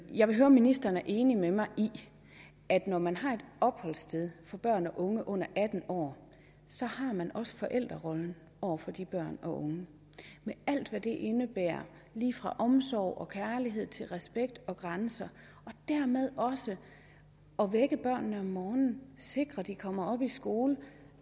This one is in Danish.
jeg vil høre om ministeren er enig med mig i at når man har et opholdssted for børn og unge under atten år så har man også forældrerollen over for de børn og unge med alt hvad det indebærer lige fra omsorg og kærlighed til respekt og grænser og dermed også at vække børnene om morgenen sikre at de kommer op og i skole